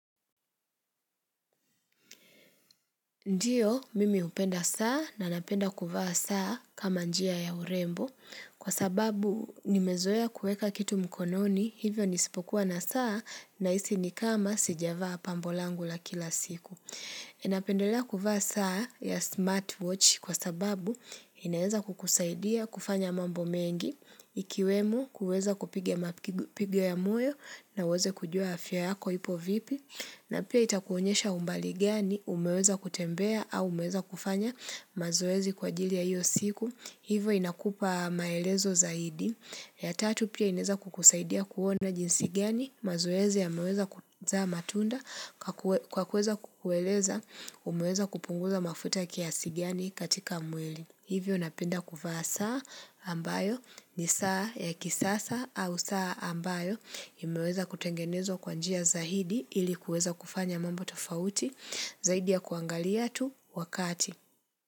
Ndiyo, mimi upenda saa na napenda kuvaa saa kama njia ya urembo, kwa sababu nimezoya kueka kitu mkononi, hivyo nisipokuwa na saa na isi ni kama sijavaa pambo langu la kila siku. Enapendelea kuvaa saa ya smartwatch kwa sababu inaeza kukusaidia kufanya mambo mengi, ikiwemu kuweza kupige mapige ya moyoo na uweze kujua afya yako hipo vipi, na pia itakuonyesha umbali gani umeweza kutembea au umeweza kufanya mazoezi kwa jili ya iyo siku, hivo inakupa maelezo zaidi. Ya tatu pia ineza kukusaidia kuona jinsigiani mazuezi ya meweza kuzama tunda kwa kuweza kukueleza umeweza kupunguza mafutaki ya kiasi ganii katika mwili. Hivyo napenda kuvaa saa ambayo ni saa ya kisasa au saa ambayo imeweza kutengenezwa kwanjia zaidi ilikuweza kufanya mambo tofauti zaidi ya kuangali ya tu wakati.